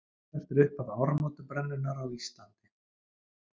Hvert er upphaf áramótabrennunnar á Íslandi?